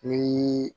Ni